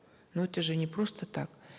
но это же не просто так